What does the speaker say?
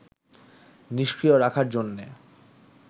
নিষ্ক্রিয় রাখার জন্যে